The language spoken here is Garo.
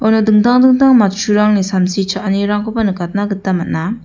uno dingtang dingtang matchurangni samsi cha·anirangkoba nikatna gita man·a.